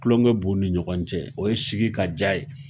Tuloŋɛ b'u ni ɲɔgɔn cɛ, o ye sigi ka diya ye;